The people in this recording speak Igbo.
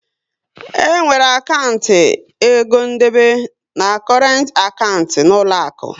E nwere akantị egondebe na korent akantị n'uloaku